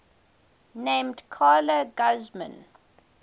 named carla guzman